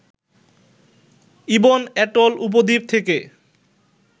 ibn atoll উপদ্বীপ থেকে